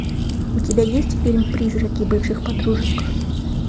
у тебя есть фильм призраки бывших подружек